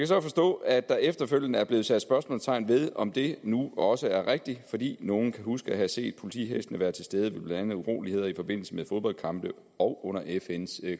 så forstå at der efterfølgende er blevet sat spørgsmålstegn ved om det nu også er rigtigt fordi nogen kan huske at have set politihestene være til stede ved blandt andet uroligheder i forbindelse med fodboldkampe og under fns